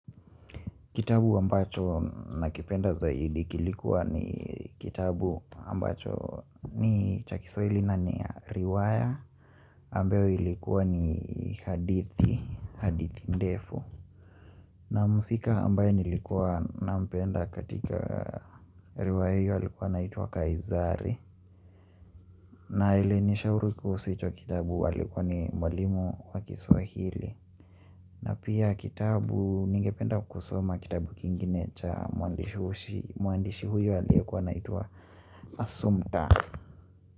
Kitabu ambacho nakipenda zaidi kilikuwa ni kitabu ambacho ni cha Kiswahili na ni riwaya ambayo ilikuwa ni hadithi, hadithi ndefu na muhusika ambaye nilikuwa na mpenda katika riwaya hiyo alikuwa anaitwa kaizari na aliye ni shauru kuhusu hicho kitabu alikuwa ni mwalimu wa Kiswahili na pia kitabu ningependa kusoma kitabu kingine cha mwandishi huyo aliekuwa naitua Asumta.